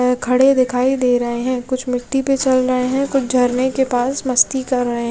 खड़े दिखाई दे रहे है कुछ मिट्टी पे चल रहे है कुछ झरने के पास मस्ती कर रहे --